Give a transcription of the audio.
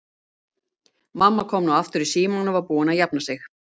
Mamma kom nú aftur í símann og var búin að jafna sig.